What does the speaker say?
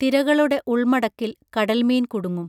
തിരകളുടെ ഉൾമടക്കിൽ കടൽമീൻ കുടുങ്ങും